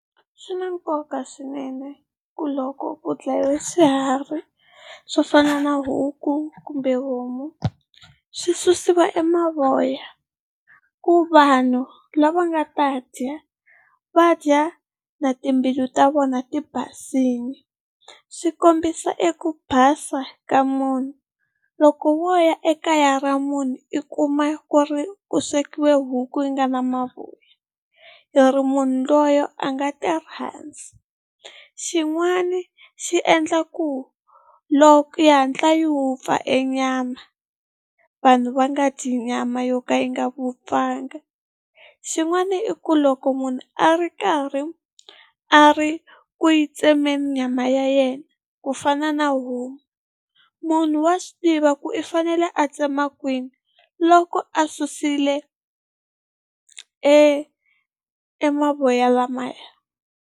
Swi na nkoka swinene ku loko ku dlayiwe swiharhi swo fana na huku kumbe homu swi susiwa e mavoya ku vanhu lava nga ta dya va dya na timbilu ta vona ti basile, swi kombisa eku basa ka munhu. Loko wo ya ekaya ra munhu i kuma ku ri ku swekiwe huku yi nga na mavoya hi ri munhu loye a nga tirhandzi. Xin'wani xi endlaku loko yi hatla yi wupfa e nyama vanhu va nga dyi nyama yo ka yi nga vupfanga. Xin'wana i ku loko munhu a ri karhi a ri ku yi tsemeni nyama ya yena ku fana na homu munhu wa swi tiva ku i fanele a tsema kwini loko a susile e e mavoya lamaya.